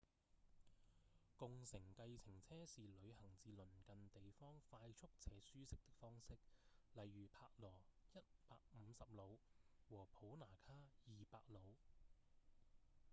共乘計程車是旅行至鄰近地方快速且舒適的方式例如帕羅150努和普那卡200努